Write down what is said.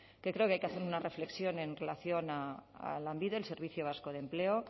que creo que hay que hacer una reflexión en relación a lanbide el servicio vasco de empleo